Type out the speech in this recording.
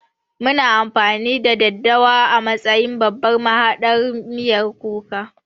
Muna amfani da daddawa a matsayin babban mahaɗar miyan kuka